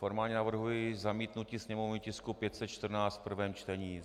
Formálně navrhuji zamítnutí sněmovního tisku 514 v prvém čtení.